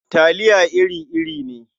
Talia iri-iri ne.